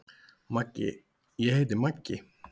Maggi: Ég heiti Maggi.